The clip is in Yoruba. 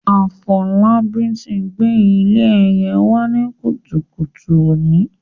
Afolabi ti gbé ilé ẹyẹ wá ní kùtùkùtù òní.